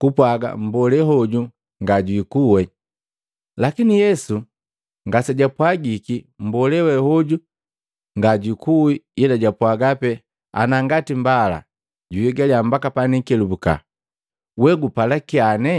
kupwaaga mmbolee hoju ngajiikuwi. Lakini Yesu ngasejapwagiki mmbolee we hoju ngajukuwe ila japwaaga pe, “Ana ngati mbala juhigala mbaka panikelubuka, we gupala kyane?”